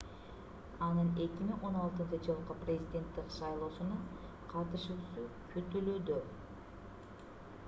анын 2016-жылкы президенттик шайлоосуна катышуусу күтүлүүдө